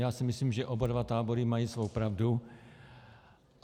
Já si myslím, že oba dva tábory mají svou pravdu.